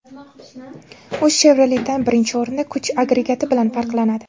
U Chevrolet’dan, birinchi o‘rinda, kuch agregati bilan farqlanadi.